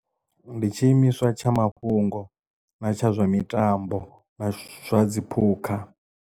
Ndi tshi imiswa tsha mafhungo na tsha zwa mitambo na zwa dziphukha.